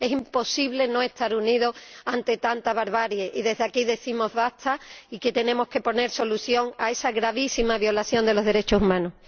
es imposible no estar unido ante tanta barbarie. Y desde aquí decimos basta y que tenemos que poner solución a esa gravísima violación de los derechos humanos.